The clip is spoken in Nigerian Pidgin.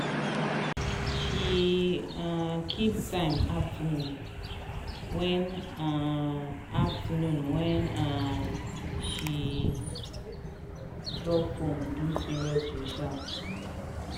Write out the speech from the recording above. she um keep time afternoon wen um afternoon wen um she dey drop phone do serious research.